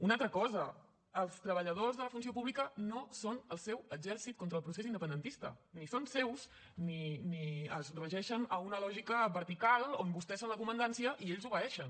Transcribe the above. una altra cosa els treballadors de la funció pública no són el seu exèrcit contra el procés independentista ni són seus ni es regeixen a una lògica vertical on vostès són la comandància i ells obeeixen